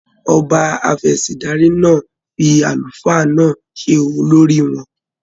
Ọba Afẹ̀sìndarí náà fí àlùfáà náà se olórí wọn.